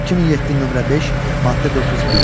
2007, nömrə 5, maddə 401.